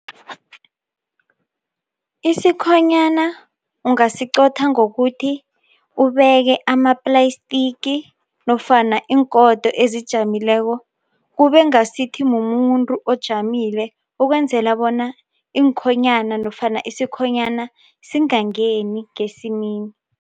Isikhoyana ungasiqotha ngokuthi ubeke ama-plastic nofana iingodo ezijamileko kube ngasithi mumuntu ojamile ukwenzela bona iinkhonyana nofana isikhonyana singangeni ngesimini.